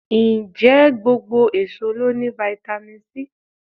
Ǹjẹ́ gbogbo èso ló ní fáítámì C?